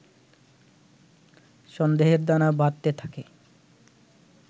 সন্দেহের দানা বাঁধতে থাকে